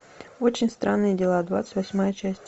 очень странные дела двадцать восьмая часть